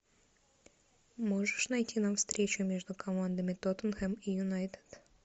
можешь найти нам встречу между командами тоттенхэм и юнайтед